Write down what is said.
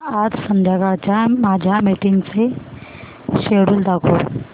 आज संध्याकाळच्या माझ्या मीटिंग्सचे शेड्यूल दाखव